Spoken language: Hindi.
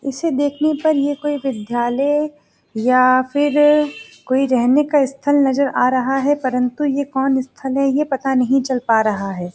इसे देखने पर ये कोई विद्यालय या फिर कोई रहने का स्थल नजर आ रहा है परंतु ये कौन स्थल है ये पता नहीं चल पा रहा है।